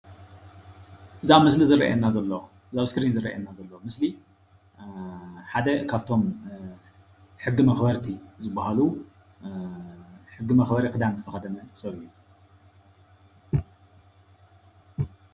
እዚ ኣብ ምስሊ ዝርአየና ዘሎ እዚ ኣብ እስክሪን ዝረአየና ዘሎ ምስሊ ሓደ ካብቶም ሕጊ መክበርቲ ዝባሃሉ ሕጊ መክበሪ ክዳን ዝተከደነ ሰብ እዩ፡፡